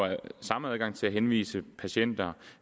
samme adgang til at henvise patienter